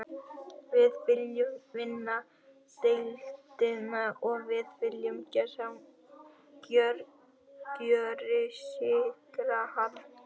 Við viljum vinna deildina og við viljum gjörsigra hana.